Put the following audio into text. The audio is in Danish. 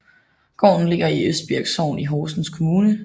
Gården ligger i Østbirk Sogn i Horsens Kommune